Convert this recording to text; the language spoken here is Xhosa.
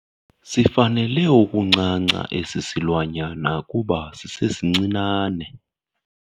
Sifanele ukuncanca esi silwanyana kuba sisesincinane.